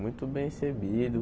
Muito bem recebido.